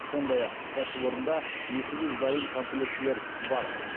сондай ақ кәсіпорында екі жүз дайын комплектілер бар